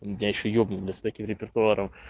меня ещё ебнут бля с таким репертуаром